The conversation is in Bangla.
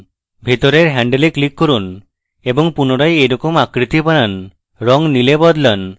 ভিতরের handle click করুন এবং পুনরায় এইরকম আকৃতি বানান রঙ নীলে বদলান